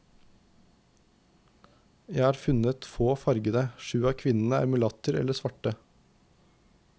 Jeg har funnet få fargede, sju av kvinnene er mulatter eller svarte.